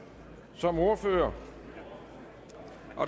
som ordfører